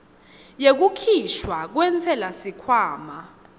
yekukhishwa kwentsela sikhwama